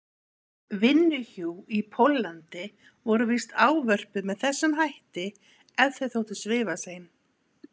vinnuhjú í Póllandi voru víst ávörpuð með þessum hætti ef þau þóttu svifasein.